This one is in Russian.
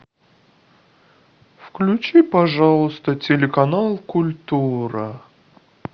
включи пожалуйста телеканал культура